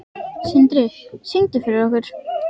Sindri: Syngdu fyrir okkur?